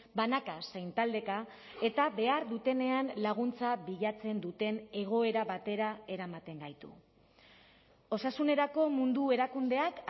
banaka zein taldeka eta behar dutenean laguntza bilatzen duten egoera batera eramaten gaitu osasunerako mundu erakundeak